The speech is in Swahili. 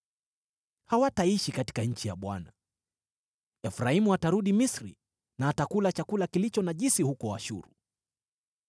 Hawataishi katika nchi ya Bwana , Efraimu atarudi Misri na atakula chakula kilicho najisi huko Ashuru.